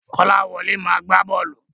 Kọ́láwọlé máa gbá bọ́ọ̀lù.